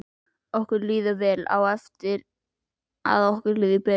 Okkur líður vel og á eftir að líða betur.